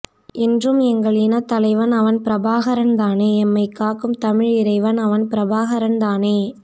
என்றும் எங்கள் இன தலைவன் அவன் பிரபாகரன் தானே எம்மை காக்கும் தமிழ் இறைவன் அவன் பிரபாகரன் தானே